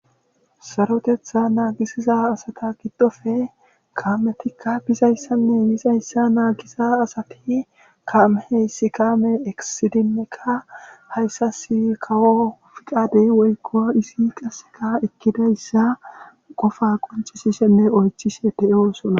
Sarotetta naagissiza asata giddofe kaametikka bizayssanne yizayssa naagiza asati kaame heyssi kaame eqissidinneka haysassi kawo fiqade woykko izi qassika ekķidayssa qofa qoncccisishenne oychishe de7oosona.